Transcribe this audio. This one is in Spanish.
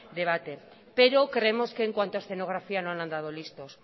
debate pero creemos que en cuanto a escenografía no han andado listos